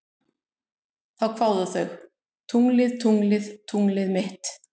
Þá kváðu þau: Tunglið, tunglið, tunglið mitt